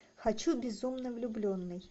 хочу безумно влюбленный